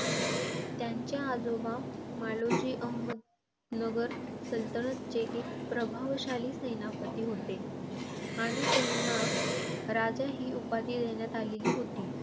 त्यांचे आजोबा मालोजी, अहमदनगर सल्तनतचे एक प्रभावशाली सेनापती होते आणि त्यांना राजा ही उपाधी देण्यात आलेली होती.